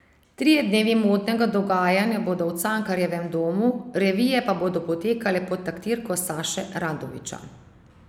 Trije dnevi modnega dogajanja bodo v Cankarjevem domu, revije pa bodo potekale pod taktirko Saše Radovića.